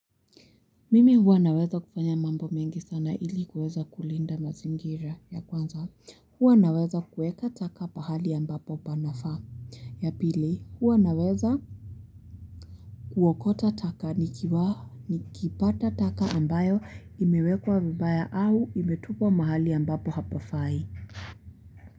Mimi huwa naweza kufanya mambo mengi sana ili kuweza kulinda mazingira ya kwanza huwa naweza kueka taka pahali ambapo panafaa ya pili huwa naweza kuokota taka nikipata taka ambayo imewekwa vibaya au imetupwa mahali ambapo hapafai.